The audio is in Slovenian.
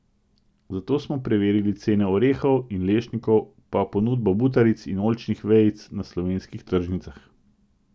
Zato smo preverili cene orehov in lešnikov pa ponudbo butaric in oljčnih vejic na slovenskih tržnicah.